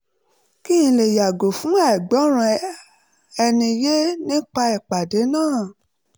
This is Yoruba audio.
kí n lè yàgò fún àìgbọ́ra-ẹni-yé nípa ìpàdé náà